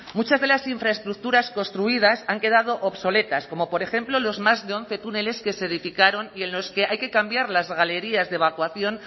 muchas de las infraestructuras construidas han quedado obsoletas como por ejemplo los más de once túneles que se edificaron y en los que hay que cambiar las galerías de evacuación